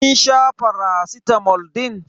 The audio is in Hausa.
Kin sha faracitamol din?